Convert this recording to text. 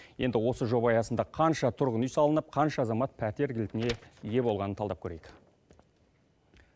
енді осы жоба аясында қанша тұрғын үй салынып қанша азамат пәтер кілтіне ие болғанын талдап көрейік